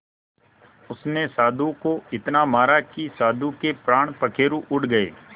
उसने साधु को इतना मारा कि साधु के प्राण पखेरु उड़ गए